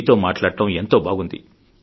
మీతో మాట్లాడడం ఎంతో బాగుంది